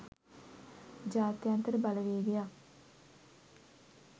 ජාත්‍යන්තර බලවේගයක්